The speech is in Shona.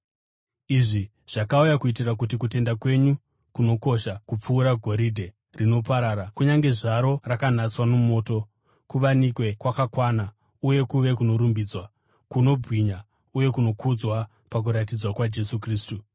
Izvi zvakauya kuitira kuti kutenda kwenyu, kunokosha kupfuura goridhe, rinoparara kunyange zvaro rakanatswa nomoto, kuwanikwe kwakakwana uye kuve kunorumbidzwa, kunobwinya uye kunokudzwa pakuratidzwa kwaJesu Kristu.